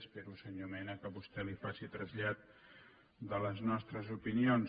espero senyor mena que vostè li faci trasllat de les nostres opinions